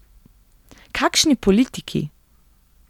Kakšni politiki!